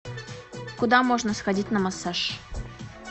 куда можно сходить на массаж